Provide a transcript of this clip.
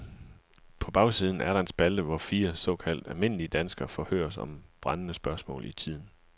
På bagsiden er der en spalte, hvor fire såkaldt almindelige danskere forhøres om brændende spørgsmål i tiden.